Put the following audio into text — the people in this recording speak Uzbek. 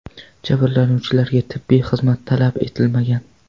Jabrlanuvchilarga tibbiy xizmat talab etilmagan.